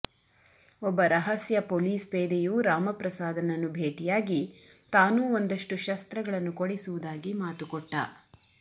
ಒಬ್ಬ ರಹಸ್ಯ ಪೊಲೀಸ್ಪೇದೆಯು ರಾಮಪ್ರಸಾದನನ್ನು ಭೇಟಿಯಾಗಿ ತಾನೂ ಒಂದಷ್ಟು ಶಸ್ತ್ರಗಳನ್ನು ಕೊಡಿಸುವುದಾಗಿ ಮಾತು ಕೊಟ್ಟ